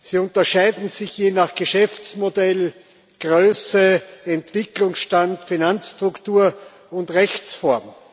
Sie unterscheiden sich je nach Geschäftsmodell, Größe, Entwicklungsstand, Finanzstruktur und Rechtsform.